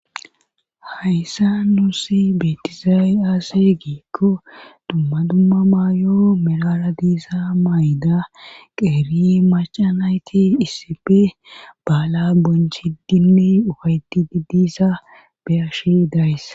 haysan nuussi beettizay aaze giikko dumma dumma maayo meraara diza mayida qeeri macca nayti issipe baalaa bonchiddinne ufayttidi diza be7ashe days.